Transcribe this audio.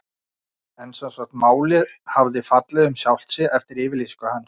En sem sagt, málið hafði fallið um sjálft sig eftir yfirlýsingu hans.